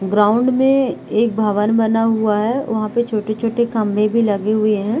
Ground में एक भवन बना हुआ है। वहा पे छोटे-छोटे खम्बे भी लगे हुए है।